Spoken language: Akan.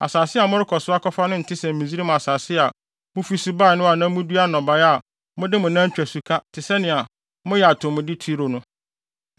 Asase a morekɔ so akɔfa no nte sɛ Misraim asase a mufi so bae no a na mudua nnɔbae a mode mo nan twa suka te sɛnea moyɛ atomude turo no.